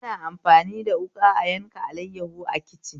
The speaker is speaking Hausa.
Ana amfani da wuƙa a yanka alaiyahu a kicin